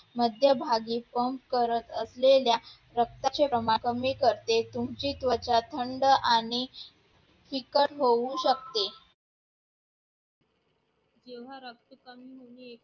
मध्यभागी पण करत असलेल्या रक्ताचे प्रमाण कमी करते, तुमची त्वचा थंड आणि चिकट होऊ शकते